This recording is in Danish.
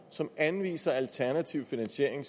som anviser alternativ finansiering